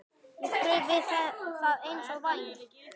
Ég kraup við það eins og væm